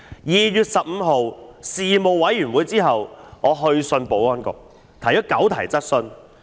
在2月15日的事務委員會會議後，我去信保安局提出9項質詢。